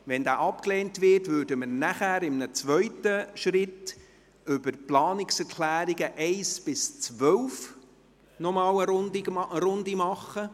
Wenn dieser abgelehnt wird, würden wir anschliessend in einem zweiten Schritt zu den Planungserklärungen 1–12 eine Runde machen.